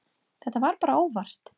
Þetta var bara óvart.